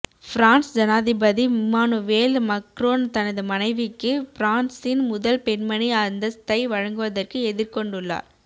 France ஜனாதிபதி Emmanuel Macron தனது மனைவிக்கு பிரான்ஸின் முதல் பெண்மணி அந்தஸ்த்தை வழங்குவதற்கு எதிர்கொண்டுள்ளார்